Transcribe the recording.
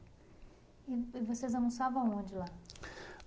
E vocês almoçavam aonde lá?